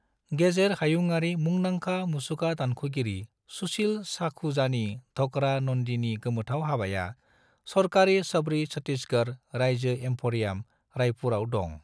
गेजेर हायुंआरि मुंदांखा मुसुखा दानख'गिरि सुशिल सखुजानि ढोकरा नन्दीनि गोमोथाव हाबाया सरकारनि शबरी छत्तीसगढ़ रायजो एम्फरियाम, रायपुरआव दं।